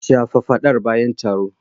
Shafa fadar bayan taro.